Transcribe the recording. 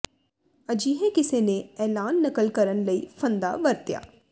ਅਜਿਹੇ ਕਿਸੇ ਨੇ ਐਲਾਨ ਨਕਲ ਕਰਨ ਲਈ ਫੰਦਾ ਵਰਤਿਆ